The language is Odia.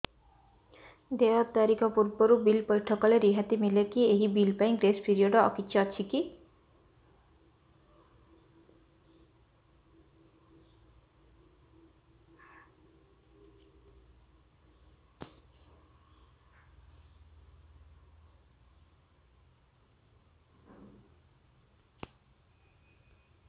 ଦେୟ ତାରିଖ ପୂର୍ବରୁ ବିଲ୍ ପୈଠ କଲେ ରିହାତି ମିଲେକି ଏହି ବିଲ୍ ପାଇଁ ଗ୍ରେସ୍ ପିରିୟଡ଼ କିଛି ଅଛିକି